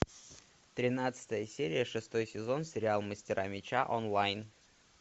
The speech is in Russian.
тринадцатая серия шестой сезон сериал мастера меча онлайн